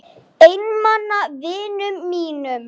Einmana vinum mínum.